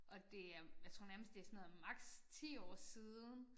Og det er jeg tror nærmest det sådan noget maks. 10 år siden